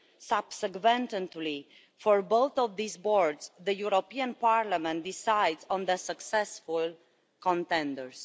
Subsequently, for both of these boards, the European Parliament decides on the successful contenders.